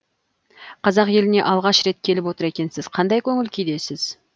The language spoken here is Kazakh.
қазақ еліне алғаш рет келіп отыр екенсіз қандай көңіл күйдесіз